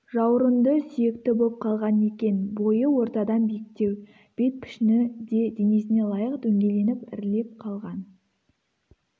жаурынды сүйекті боп қалған екен бойы ортадан биіктеу бет пішіні де денесіне лайық дөңгеленіп ірілеп қалған